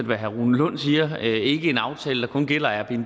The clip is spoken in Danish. hvad herre rune lund siger ikke en aftale der kun gælder airbnb